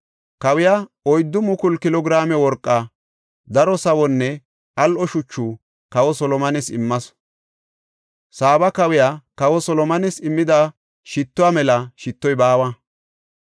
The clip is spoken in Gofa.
Kawiya oyddu mukulu kilo giraame worqa, daro sawonne al7o shuchu kawa Solomones immasu; Saaba kawiya kawa Solomones immida shittuwa mela shittoy baawa.